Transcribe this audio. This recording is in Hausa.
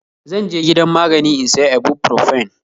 Zanje gidan magani in siya ibuprofen